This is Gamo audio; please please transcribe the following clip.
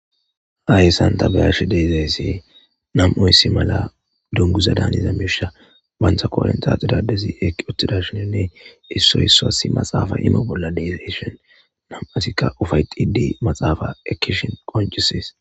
Hayyssanta beyarshe deezayssi nam7oyssi mala dunguza daaniza misha bantha koorentax idadezi eki othtidashininne issoy issoa si maxaafa imo bolla dezeshon nam7asikka ufay xidi maxaafa ekkishin qoncisis